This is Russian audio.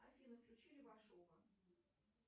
афина включи левашова